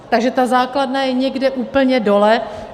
Takže ta základna je někde úplně dole.